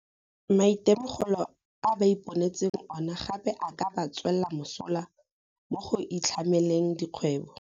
Maitemogelo a ba iponetseng ona gape a ka ba tswela mosola mo go itlhameleng dikgwebo.